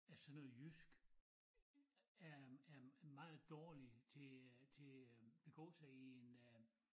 At sådan noget jysk er er meget dårligt til øh til øh begå i en øh